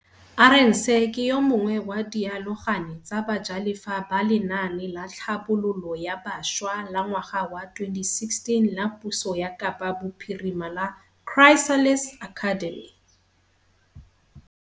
Arendse ke yo mongwe wa dialogane tsa bajalefa ba lenaane la tlhabololo ya bašwa la ngwaga wa 2016 la puso ya Kapa Bophirima la Chrysalis Academy.